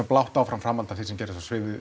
blátt áfram framhald af því sem gerðist á